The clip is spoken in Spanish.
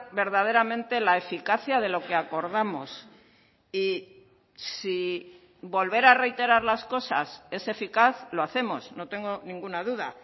verdaderamente la eficacia de lo que acordamos y si volver a reiterar las cosas es eficaz lo hacemos no tengo ninguna duda